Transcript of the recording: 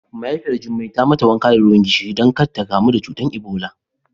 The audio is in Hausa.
Mahaifiyar Jummai ta yi mata wanka da ruwan gishiri don ƙada ta ƙamu da cutar Ebola.